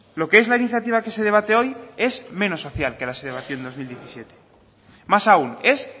lo que es la iniciativa que se debate hoy es menos social que la que se debatió en dos mil diecisiete más aún es